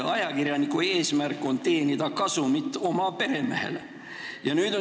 Ajakirjaniku eesmärk on teenida oma peremehele kasumit.